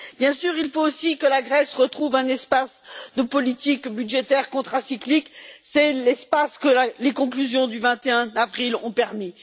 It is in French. Bien sûr, il faut aussi que la Grèce retrouve un espace de politique budgétaire contracyclique, c'est l'espace que les conclusions du 21 avril ont permis.